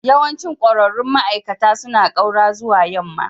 Yawancin ƙwararrun ma'aikata suna ƙaura zuwa yamma.